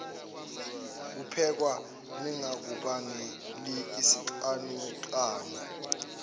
kuphekwa lingakubangeli isicanucanu